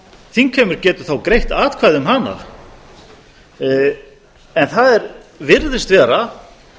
þingheimur getur þá greitt atkvæði um hana en það virðist vera